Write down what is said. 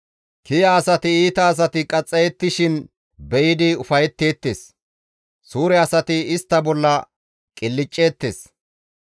«Kiya asati iita asati qaxxayettishin be7idi ufayetteettes; suure asati istta bolla qilcceettes,